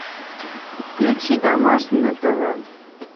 включи домашний на тв